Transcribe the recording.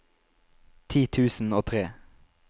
ti tusen og tre